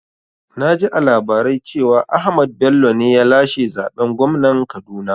Naji a labarai cewa Ahmad Bello ne ya lashe zaɓen gwamnan Kaduna